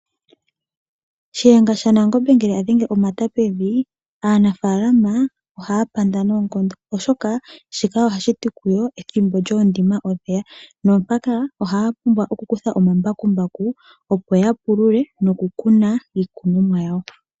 Shiyenga sha Nangombe ngele adhenge omata pevi, aanafaalama ohaya panda noonkondo, oshoka shika oha shi ti kuyo ethimbo lyoondima olyeya. Naampaka ohaya vulu oku kutha omambakumbaku opo ya pulule noku kuna iikunomwa yawo.